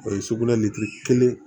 O ye sugunɛ kelen